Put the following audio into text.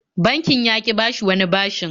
Bankin ya ƙi bashi wani bashin.